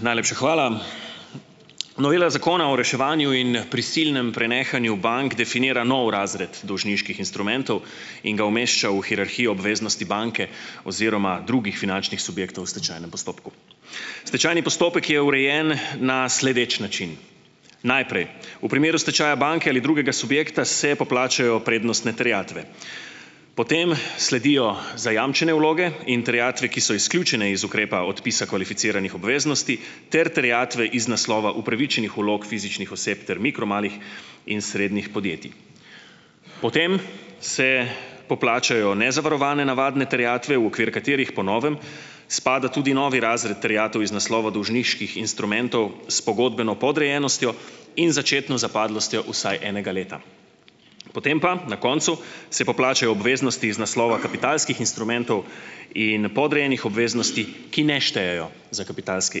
Najlepša hvala. Novela zakona o reševanju in prisilnem prenehanju bank definira nov razred dolžniških instrumentov in ga umešča v hierarhijo obveznosti banke oziroma drugih finančnih subjektov v stečajnem postopku. Stečajni postopek je urejen na sledeč način. Najprej v primeru stečaja banke ali drugega subjekta se poplačajo prednostne terjatve. Potem sledijo zajamčene vloge in terjatve, ki so izključene iz ukrepa odpisa kvalificiranih obveznosti ter terjatve iz naslova upravičenih vlog fizičnih oseb ter mikro, malih in srednjih podjetij. Potem se poplačajo nezavarovane navadne terjatve, v okvir katerih, po novem, spada tudi novi razred terjatev iz naslova dolžniških instrumentov s pogodbeno podrejenostjo in začetno zapadlostjo vsaj enega leta. Potem pa, na koncu, se poplačajo obveznosti iz naslova kapitalskih instrumentov in podrejenih obveznosti, ki ne štejejo za kapitalske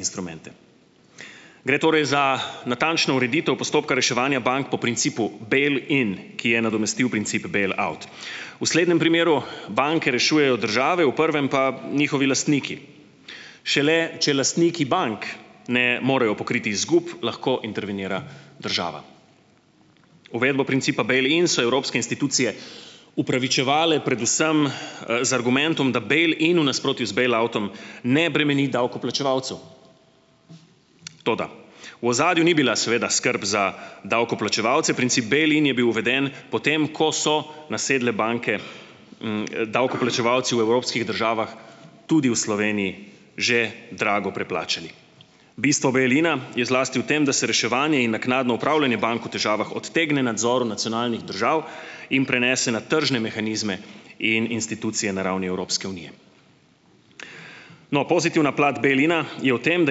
instrumente. Gre torej za natančno ureditev postopka reševanja bank po principu "bail-in", ki je nadomestil princip "bail-out". V slednjem primeru banke rešujejo države, v prvem pa njihovi lastniki. Šele če lasniki bank ne morejo pokriti izgub lahko intervenira država. Uvedbo principa "bail-in" so evropske institucije upravičevale predvsem, z argumentom, da "bail-in" v nasprotju z "bail-outom" ne bremeni davkoplačevalcev. Toda, v ozadju ni bila, seveda, skrb za davkoplačevalce. Princip "bail-in" je bil uveden po tem, ko so nasedle banke, davkoplačevalci v evropskih državah, tudi v Sloveniji, že drago preplačali. Bistvo "bail-ina" je zlasti v tem, da se reševanje in naknadno upravljanje bank v težavah odtegne nadzoru nacionalnih držav in prenese na tržne mehanizme in institucije na ravni Evropske unije. No, pozitivna plat "bail-ina" je v tem, da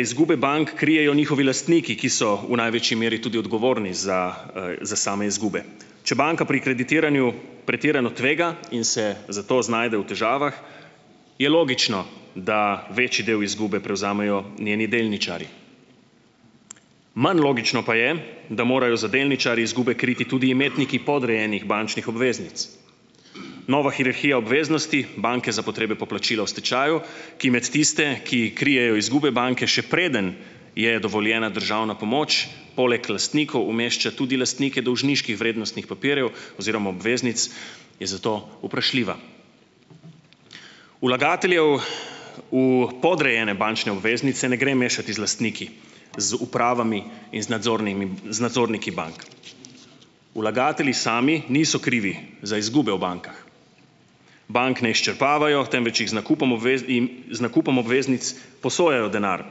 izgube bank krijejo njihovi lastniki, ki so v največji meri tudi odgovorni za, za same izgube. Če banka pri kreditiranju pretirano tvega in se zato znajde v težavah je logično, da večji del izgube prevzamejo njeni delničarji. Manj logično pa je, da morajo za delničarji izgube kriti tudi imetniki podrejenih bančnih obveznic. Nova hierarhija obveznosti banke za potrebe poplačila v stečaju, ki med tiste, ki krijejo izgube banke, še preden je dovoljena državna pomoč, poleg lastnikov umešča tudi lastnike dolžniških vrednostnih papirjev oziroma obveznic, je zato vprašljiva. Vlagateljev v podrejene bančne obveznice ne gre mešati z lastniki, z upravami in z nadzornimi z nadzorniki bank. Vlagatelji sami niso krivi za izgube v bankah. Bank ne izčrpavajo, temveč jim z nakupom in z nakupom obveznic posojajo denar,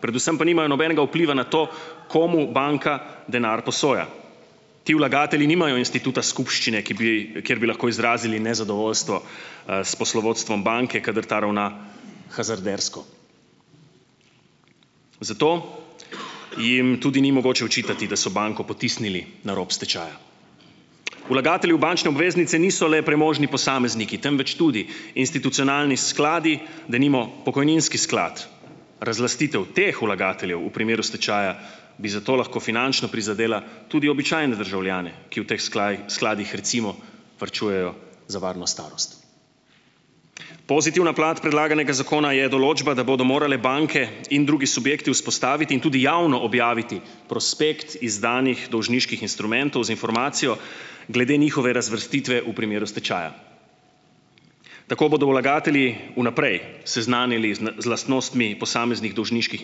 predvsem pa nimajo nobenega vpliva na to, komu banka denar posoja. Ti vlagatelji nimajo instituta skupščine, ki bi kjer bi lahko izrazili nezadovoljstvo, s poslovodstvom banke, kadar ta ravna hazardersko. Zato jim tudi ni mogoče očitati, da so banko potisnili na rob stečaja. Vlagatelji v bančne obveznice niso le premožni posamezniki, temveč tudi institucionalni skladi, denimo pokojninski sklad. Razlastitev teh vlagateljev v primeru stečaja bi zato lahko finančno prizadela tudi običajne državljane, ki v teh skladih, recimo, varčujejo za varno starost. Pozitivna plat predlaganega zakona je določba, da bodo morale banke in drugi subjekti vzpostaviti in tudi javno objaviti prospekt izdanih dolžniških instrumentov z informacijo glede njihove razvrstitve v primeru stečaja. Tako bodo vlagatelji v naprej seznanili zn z lastnostmi posameznih dolžniških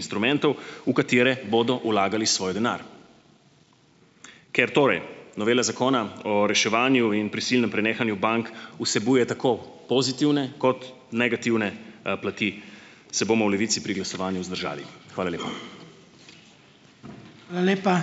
instrumentov, v katere bodo vlagali svoj denar. Ker torej novela Zakona o reševanju in prisilnem prenehanju bank vsebuje tako pozitivne kot negativne, plati, se bomo v Levici pri glasovanju vzdržali. Hvala lepa.